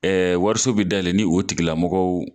Wariso bɛ dayɛlɛ ni o tigilamɔgɔw